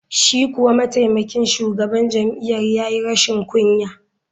Shi kuwa mataimakin shugaban jami’ar ya yi rashin kunya.